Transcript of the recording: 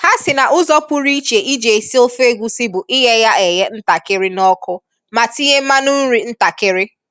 Ha sị na ụzọ pụrụiche iji esi ofe egusi bu ighe ya eghe ntakịrị n'ọkụ ma tinye mmanụ nri ntakịrị.